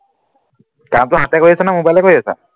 কামটো হাতে কৰি আছনে mobile কৰি আছ